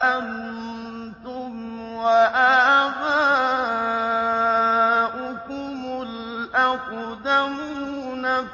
أَنتُمْ وَآبَاؤُكُمُ الْأَقْدَمُونَ